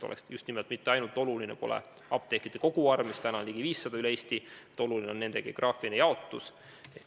Oluline pole mitte ainult apteekide koguarv – täna on neid üle Eesti ligi 500 –, vaid oluline on ka nende geograafiline jaotus.